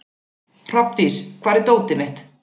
Hrafndís, hvar er dótið mitt?